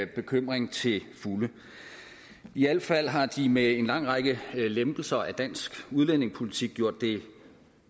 bekymring til fulde i al fald har de med en lang række lempelser af dansk udlændingepolitik gjort det